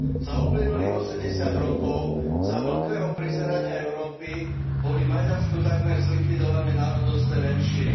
Za uplynulých osemdesiat rokov, za mĺkveho prizerania Európy, boli v Maďarsku takmer zlikvidované národnostné menšiny.